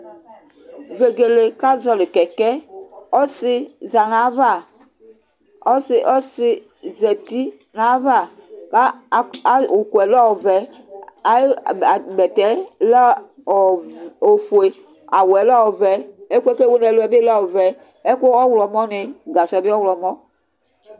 Vegele ka zɔli keke ɔsi zanava ɔsi ɔsi zati na ya va ku ukue lɛ ɔvɛ ayi bɛtɛ lɛ ofue awu lɛ ofue, gasɔ bi ɔyɔmɔ